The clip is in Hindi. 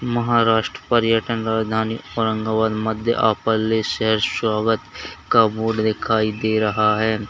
महाराष्ट्र पर्यटन राजधानी औरंगाबाद मध्ये आपले सहर्ष स्वागत का बोर्ड दिखाई दे रहा है।